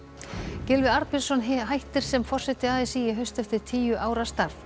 Gylfi Arnbjörnsson hættir sem forseti a s í í haust eftir tíu ára starf